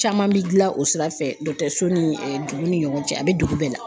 Caman bi dilan o sira fɛ ni dugu ni ɲɔgɔn cɛ a bɛ dugu bɛɛ la.